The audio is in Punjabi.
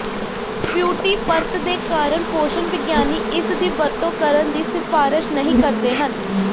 ਫਿਊਟੀ ਪਰਤ ਦੇ ਕਾਰਨ ਪੋਸ਼ਣ ਵਿਗਿਆਨੀ ਇਸ ਦੀ ਵਰਤੋਂ ਕਰਨ ਦੀ ਸਿਫਾਰਸ਼ ਨਹੀਂ ਕਰਦੇ ਹਨ